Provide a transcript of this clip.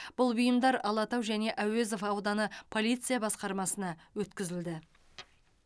бұл бұйымдар алатау және әуезов ауданы полиция басқармасына өткізілді